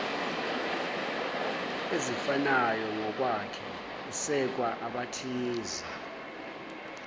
ezifanayongokwakhe esekwa abathize